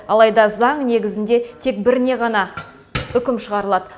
алайда заң негізінде тек біріне ғана үкім шығарылады